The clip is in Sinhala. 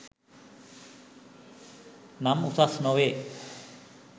නම් උසස් නොවේ